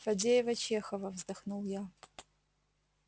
фадеева-чехова вздохнул я